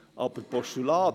Aber «Postulat»!